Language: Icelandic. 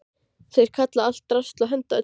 Þeir kalla allt drasl og henda öllu.